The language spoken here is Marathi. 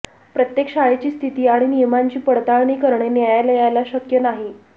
प्रत्येक शाळेची स्थिती आणि नियमांची पडताळणी करणे न्यायालयाला शक्य नाही